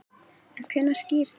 En hvenær skýrist þetta?